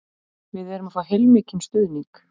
Við erum að fá heilmikinn stuðning